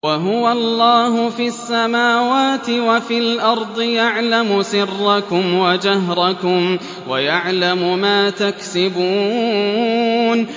وَهُوَ اللَّهُ فِي السَّمَاوَاتِ وَفِي الْأَرْضِ ۖ يَعْلَمُ سِرَّكُمْ وَجَهْرَكُمْ وَيَعْلَمُ مَا تَكْسِبُونَ